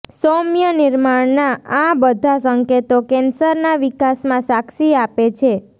સૌમ્ય નિર્માણના આ બધા સંકેતો કેન્સરના વિકાસમાં સાક્ષી આપે છે